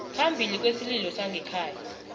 phambili kwesililo sangekhaya